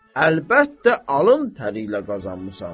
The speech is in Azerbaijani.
Əlbəttə, alın təriylə qazanmısan.